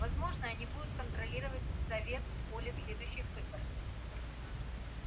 возможно они будут контролировать совет поле следующих выборов